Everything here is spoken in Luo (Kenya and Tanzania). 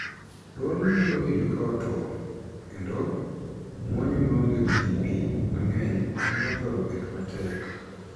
Dwol nyalo winjo ka otwo, kendo, muonyo maonge piipii mang'eny nyalo thoro bet matek.